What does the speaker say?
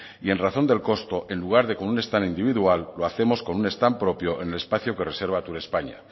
y en razón del costo en lugar de con un stand individual lo hacemos con un stand propio en el espacio que reserva turespaña